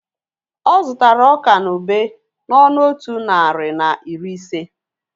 Ọ zụtara ọka na ube n'ọnụ otu narị na iri ise